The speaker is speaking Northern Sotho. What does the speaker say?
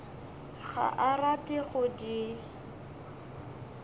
ga a rate go di